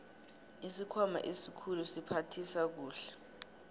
isikhwama esikhulu siphathisa kuhle